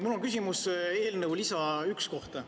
Mul on küsimus eelnõu lisa 1 kohta.